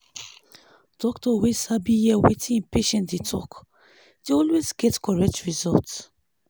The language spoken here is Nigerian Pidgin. doctor wey sabi hear wetin im patients dey talk dey always get correct result.